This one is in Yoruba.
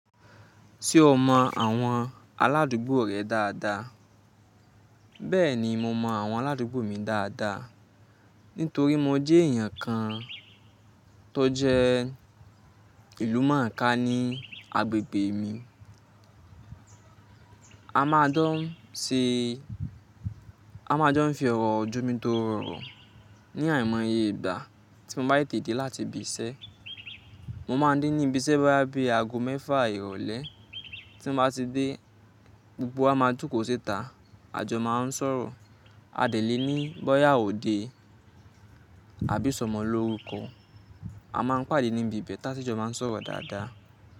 Ṣé o mọ àwọn aládùúgbò rẹ dáadáa? Bẹ́ẹ̀ni, mo mọ àwọn aládùúgbò mi dáadáa, nítorí mo jẹ́ èèyàn kan tó jẹ́ ìlú mọ̀ọ́ká ní agbègbè mi. A máa se, a máa jọ ń fi ọ̀rọ̀ j'ọ́mi tórọ òrò ní àìmọye ìgbà tí mo bá tètè dé láti ibi iṣẹ́. Mo máa ń dé ní ibi iṣẹ́ bóyá bí i ago mẹ́fà ìrọ̀lẹ́, tí mo bá ti dé, gbogbo wa máa jókòó síta, àjọ máa ń sọ̀rọ̀. A dèlé ní bóyá òde, àbí isọmọ l'órukọ. A máa ń pàdé níbi ìbẹ́ ta sí jọ máa ń sọ̀rọ̀ dáadáa.